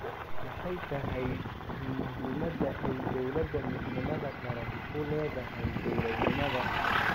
Maxay tahay muhiimadda ay Dowladda Midnimada Qaran u leedahay dowladnimada?